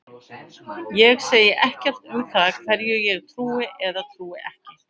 Ég segi ekkert um það hverju ég trúi eða trúi ekki.